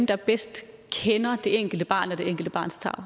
der bedst kender det enkelte barn og det enkelte barns tarv